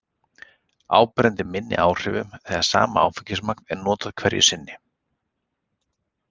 Áberandi minni áhrifum þegar sama áfengismagn er notað hverju sinni.